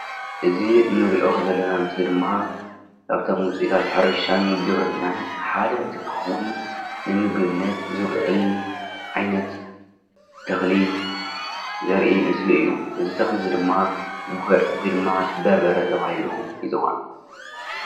አዚ እንሪኦ ዘለና ምስሊ ድማ ካብቶም ውፅኢታት ሕርሻን ግብርናን ሓደ እንትትከውን ንምግብነት ዝውዕል ዓይነት ተኽሊ ዘርኢ ምስሊ እዩ፡፡ እዚ ተኽሊ ድማ ጉዕ ወይ ድማ በርበረ ተባሂሉ ይፅዋዕ፡፡